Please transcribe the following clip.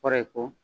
Kɔrɔ ye ko